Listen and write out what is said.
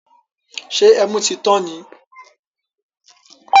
Ṣé ẹmu tí tán ni?